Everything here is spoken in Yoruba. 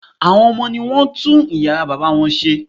Àwọn ọmọ ní wọ́n tún yàrá bàbá wọn ṣe